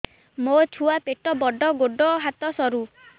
ମୋ ଛୁଆ ପେଟ ବଡ଼ ଗୋଡ଼ ହାତ ସରୁ